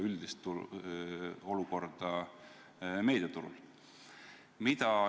Üldine olukord meediaturul on ju teada.